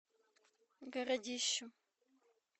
городищу